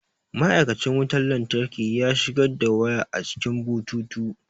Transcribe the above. Ma'aikacin wutar lantarki ya shigar da waya a cikin bututu.